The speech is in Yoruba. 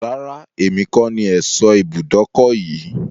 Rárá, èmi kọ ní ẹ̀sọ́ ibùdókọ̀ yìí.